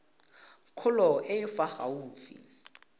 kgolo e e fa gaufi